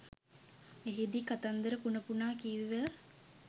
එහිදී කතන්දර පුන පුනා කිව්ව